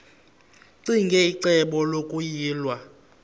ccinge icebo lokuyilwa